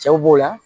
Cɛw b'o la